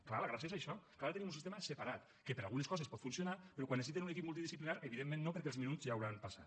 clar la gràcia és això que ara tenim un sistema separat que per a algunes coses pot funcionar però quan necessiten un equip multidisciplinari evidentment no perquè els minuts ja hauran passat